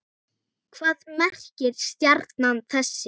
Hvað merkir stjarna þessi?